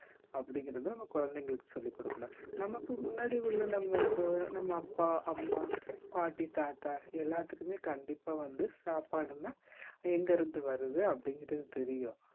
அப்படிங்கறதை நம்ம குழந்தைகளுக்கு சொல்லிக் கொடுக்கணும் நமக்கு முன்னாடி உள்ள நம்ம அப் நம்ம அப்பா அம்மா பாட்டி தாத்தா எல்லாத்துக்குமே கண்டிப்பா வந்து சாப்பாடுன்னா எங்க இருந்து வருது அப்படிங்கிறது தெரியும்